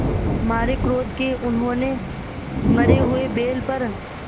मारे क्रोध के उन्होंने मरे हुए बैल पर